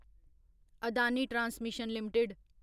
Adani transmission limited